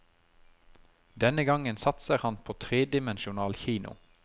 Denne gangen satser han på tredimensjonal kino.